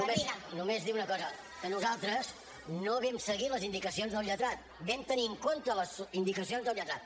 només només dir una cosa que nosaltres no vam seguir les indicacions del lletrat vam tenir en compte les indicacions del lletrat